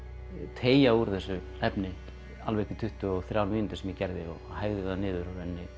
teygja úr þessu efni alveg upp í tuttugu og þrjár mínútur sem ég gerði hægði það niður